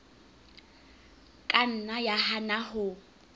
ka nna ya hana ho